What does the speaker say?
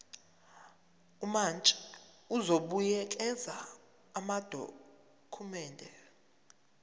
umantshi uzobuyekeza amadokhumende